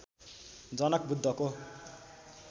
जनक बुद्धको